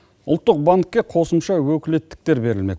ұлттық банкке қосымша өкілеттіктер берілмек